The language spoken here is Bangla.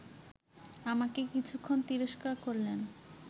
আমাকে কিছুক্ষণ তিরস্কার করলেন